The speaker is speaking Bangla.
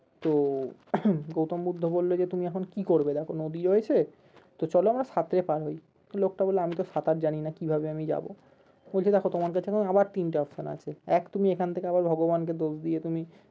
তো গৌতম বুদ্ধ বললো যে তুমি এখন কি করবে দেখো নদী রয়েছে তো চলো আমরা সাঁতরে পার হয় তো লোকটা বললো আমি তো সাঁতার জানিনা কিভাবে আমি যাবো? বলছে দেখো তোমার কাছে আবার তিনটা option আছে এক তুমি এখন থেকে আবার ভগবানকে দোষ দিয়ে তুমি